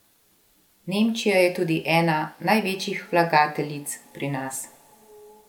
Nemčija je tudi ena največjih vlagateljic pri nas.